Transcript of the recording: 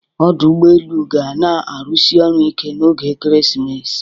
Ọdụ ụgbọ elu ga na-arụsi ọrụ ike n'oge ekeresimesi